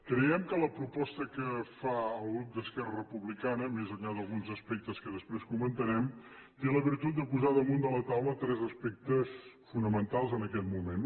creiem que la proposta que fa el grup d’esquerra republicana més enllà d’alguns aspectes que després comentarem té la virtut de posar damunt de la taula tres aspectes fonamentals en aquest moment